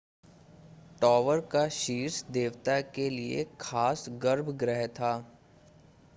tower का शीर्ष देवता के लिए खास गर्भगृह था